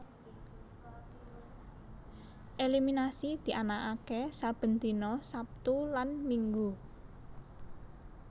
Eliminasi dianaaké saben dina Sabtu lan Minggu